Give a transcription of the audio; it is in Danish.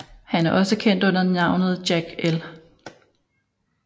Han er også kendt under navnet Jack L